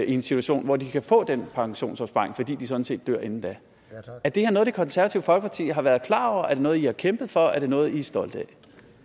en situation hvor de kan få udbetalt den pensionsopsparing fordi de sådan set dør inden er det her noget det konservative folkeparti har været klar over er det noget i har kæmpet for er det noget i er stolte